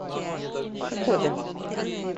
кокода